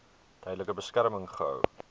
tydelike beskerming gehou